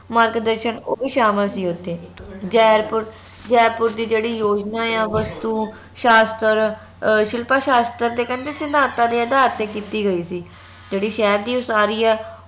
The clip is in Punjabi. ਮਾਰਗਦਰਸ਼ਨ ਓ ਵੀ ਸ਼ਾਮਿਲ ਸੀ ਓਥੇ ਜੈਪੁਰ ਜੈਪੁਰ ਦੀ ਜੇਹੜੀ ਯੋਜਨਾ ਆ ਵਸਤੂ ਸ਼ਾਸਤਰ ਅਹ ਸ਼ਿਲਪਾ ਸਾਸਤ੍ਰ ਤੇ ਕਹਿੰਦੇ ਸਿਧਾਂਤਾਂ ਦੇ ਆਧਾਰ ਤੇ ਕੀਤੀ ਗਯੀ ਸੀ ਜੇਹੜੀ ਸ਼ਹਿਰ ਦੀ ਉਹ ਸਾਰੀ ਆ